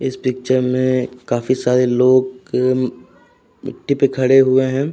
इस पिक्चर में काफी सारे लोग मिट्टी पे खड़े हुए हैं।